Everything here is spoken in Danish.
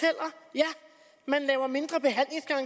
jeg